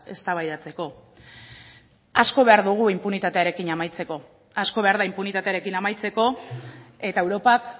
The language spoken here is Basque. eztabaidatzeko asko behar dugu inpunitatearekin amaitzeko asko behar da inpunitatearekin amaitzeko eta europak